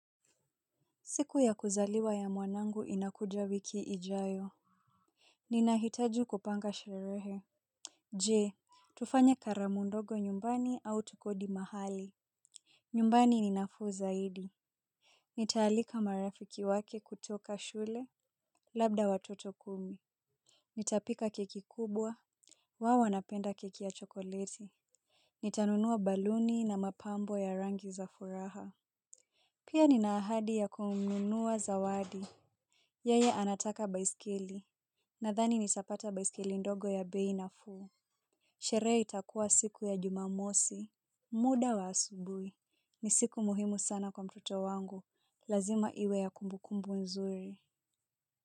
Siku ya kuzaliwa ya mwanangu inakuja wiki ijayo. Ninahitaji kupanga sherehe. Je tufanye karamu ndogo nyumbani au tukodi mahali. Nyumbani ni nafuu zaidi. Nitaalika marafiki wake kutoka shule labda watoto kumi. Nitapika keki kubwa. Wao wanapenda keki ya chokoleti. Nitanunua baluni na mapambo ya rangi za furaha. Pia nina ahadi ya kumnunua zawadi. Yeye anataka baisikeli. Nathani nitapata baisikeli ndogo ya bei nafuu. Sherehe itakuwa siku ya jumamosi. Muda wa asubuhi ni siku muhimu sana kwa mtoto wangu. Lazima iwe ya kumbukumbu nzuri.